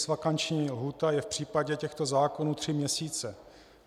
Legisvakanční lhůta je v případě těchto zákonů tři měsíce.